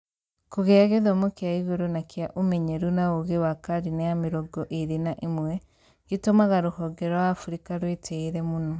kũgĩa gĩthomo kĩa igũrũ na kĩa ũmenyeru na ũũgï wa karine ya 21 gĩtũmaga rũhone rwa Afrika rũĩtïre mũno